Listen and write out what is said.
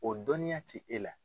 O dɔnniya ti e la.